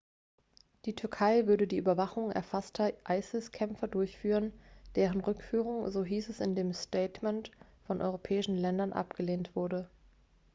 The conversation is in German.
die türkei würde die überwachung gefasster isis-kämpfer durchführen deren rückführung so hieß es in dem statement von europäischen ländern abgelehnt wurde